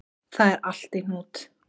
Það er allt í hnút